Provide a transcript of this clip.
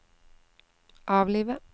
avlive